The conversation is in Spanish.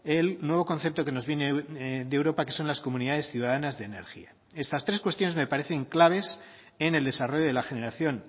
el nuevo concepto que nos viene de europa que son las comunidades ciudadanas de energía estas tres cuestiones me parecen claves en el desarrollo de la generación